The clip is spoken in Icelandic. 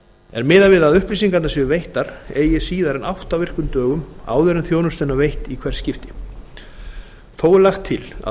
er miðað við að upplýsingarnar séu veittar eigi síðar en átta virkum dögum áður en þjónustan er veitt í hvert skipti þó er lagt til að fyrirtæki